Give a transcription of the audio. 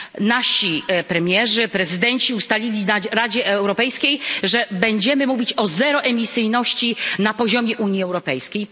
Nasi premierzy, prezydenci ustalili w Radzie Europejskiej, że będziemy mówić o zeroemisyjności na poziomie Unii Europejskiej.